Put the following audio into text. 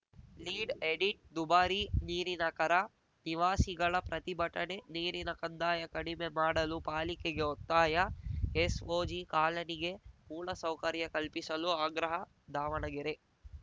lead edit ದುಬಾರಿ ನೀರಿನ ಕರ ನಿವಾಸಿಗಳ ಪ್ರತಿಭಟನೆ ನೀರಿನ ಕಂದಾಯ ಕಡಿಮೆ ಮಾಡಲು ಪಾಲಿಕೆಗೆ ಒತ್ತಾಯ ಎಸ್‌ಓಜಿ ಕಾಲನಿಗೆ ಮೂಲ ಸೌಕರ್ಯ ಕಲ್ಪಿಸಲು ಆಗ್ರಹ ದಾವಣಗೆರೆ